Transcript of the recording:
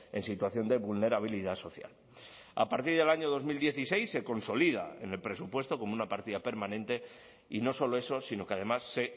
en situación de vulnerabilidad social a partir del año dos mil dieciséis se consolida en el presupuesto como una partida permanente y no solo eso sino que además se